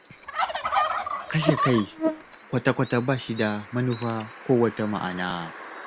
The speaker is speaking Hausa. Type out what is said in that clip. Kashe kai kwata-kwata ba shi da manufa ko wata ma'ana.